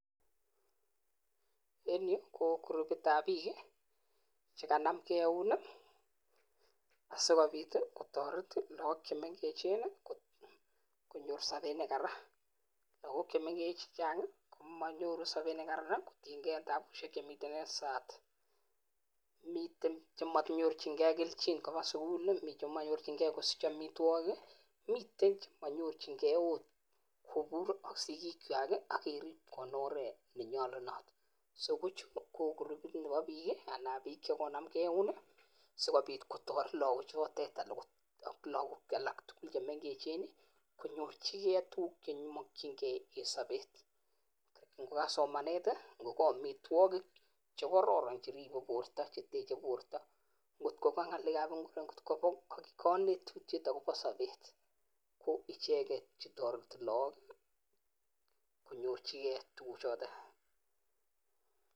En yu ko kirupitab bik chekanam gee eun i,asikobiit kotoret logook chemengechen, konyoor sobet nekaran. Lagook chemengech, chechang komonyoru sobet nekararan kotiengei tabusiek chemiten en sai, miten chemonyorchingei kelchin kobaa sukul, mi chemonyorchingei kosich amitwogik, mite chemonyorchingei ot kobuur ak sigikwak ak enoret nenyolunot. So kochutok KO kirupit nebo biik, anan bike chekonamgei eun I sikobiit kotoret logbook chotet en tuguuk alak tugul chemengechen konyorchigei tuguuk chekimokyingei en sobet. Ingoka somanet i,ingoka amitwogik che kororon cheteche bortoo. Akonet lagook akobo sobet, ko icheket chetoretii logok konyorchigei tugukchoton